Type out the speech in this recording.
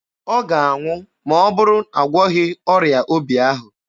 Ọ ga-anwụ ma ọ bụrụ a gwọghị ọrịa obi ahụ.